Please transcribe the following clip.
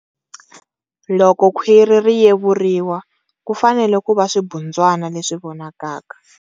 Loko khwiri ri yevuriwa, ku fanele ku va swibundzwana leswi vonakaka.